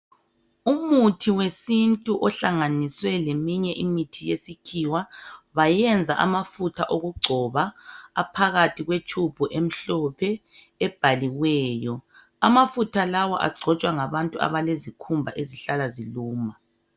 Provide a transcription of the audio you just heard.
Umuthi wesintu ohlanganiswe leminye imithi yesikhiwa bayenza amafutha okugcoba aphakathi kwetube emhlophe ebhaliweyo. Amafutha lawa agcotshwa ngabantu abalezikhumba ezihlala ziluma.